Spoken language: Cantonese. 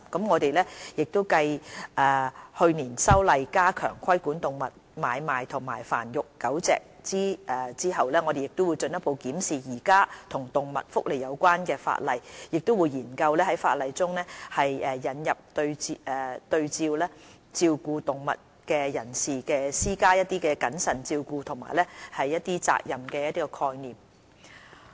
我們繼去年修例加強規管動物買賣和繁育狗隻後，會進一步檢視現行與動物福利有關的法例，亦會研究在法例中引入對照顧動物的人士施加謹慎照顧和責任的概念。